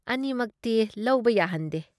ꯑꯅꯤꯃꯛꯇꯤ ꯂꯧꯕ ꯌꯥꯍꯟꯗꯦ ꯫